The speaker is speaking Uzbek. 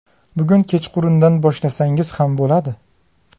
Bugun kechqurundan boshlasangiz ham bo‘ladi.